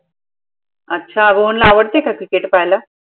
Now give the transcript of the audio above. अच्छा रोहनला आवडते का cricket पाहायला?